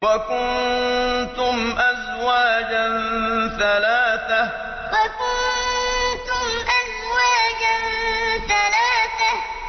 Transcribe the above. وَكُنتُمْ أَزْوَاجًا ثَلَاثَةً وَكُنتُمْ أَزْوَاجًا ثَلَاثَةً